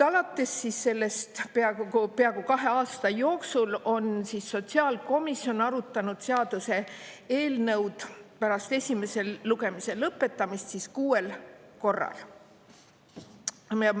Alates sellest, peaaegu peaaegu kahe aasta jooksul on sotsiaalkomisjon arutanud seaduse eelnõu pärast esimese lugemise lõpetamist kuuel korral.